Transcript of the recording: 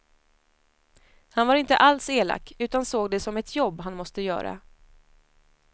Han var inte alls elak utan såg det som ett jobb han måste göra.